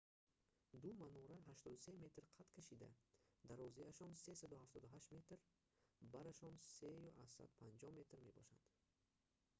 ду манора 83 метр қад кашида дарозиашон - 378 метр барашон - 3,50 метр мебошад